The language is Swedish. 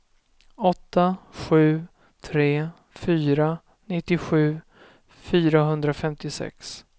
åtta sju tre fyra nittiosju fyrahundrafemtiosex